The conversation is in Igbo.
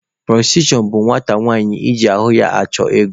Pụrọstitushọn bụ nwata nwanyị iji ahụ ya chụọ ego.